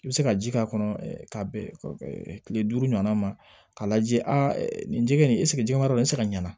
I bɛ se ka ji k'a kɔnɔ k'a bɛn kile duuru ɲɔgɔnna ma k'a lajɛ a nin jɛgɛ in jɛgɛmara de bɛ se ka ɲa